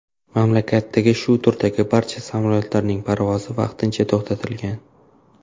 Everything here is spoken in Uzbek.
Mamlakatdagi shu turdagi barcha samolyotlarning parvozi vaqtincha to‘xtatilgan.